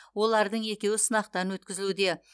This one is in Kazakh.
олардың екеуі сынақтан өткізілуде